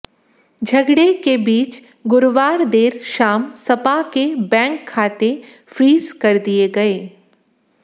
झगड़े के बीच गुरुवार देर शाम सपा के बैंक खाते फ्रीज कर दिए गए